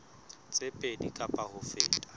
tse pedi kapa ho feta